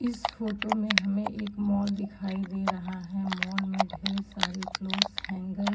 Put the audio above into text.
इस फोटो में हमें एक मॉल दिखाई दे रहा है। मॉल में ढेर सारे क्लोथ्स हैंगर --